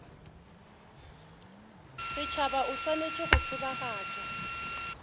setšhaba o swanetše go tsebagatša